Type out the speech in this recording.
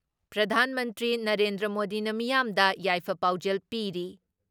ꯄ꯭ꯔꯙꯥꯟ ꯃꯟꯇ꯭ꯔꯤ ꯅꯔꯦꯟꯗ꯭ꯔ ꯃꯣꯗꯤꯅ ꯃꯤꯌꯥꯝꯗ ꯌꯥꯏꯐ ꯄꯥꯎꯖꯦꯜ ꯄꯤꯔꯤ ꯫